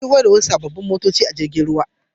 An shigo da wasu sabbin motoci ta jirgin ruwa.